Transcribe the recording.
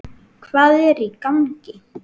HVAÐ ER Í GANGI??